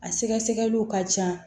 A sɛgɛsɛgɛliw ka ca